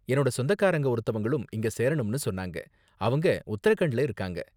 என்னோட சொந்தக்காரங்க ஒருத்தவங்களும் இங்க சேரணும்னு சொன்னாங்க, அவங்க உத்தரகண்ட்ல இருக்காங்க.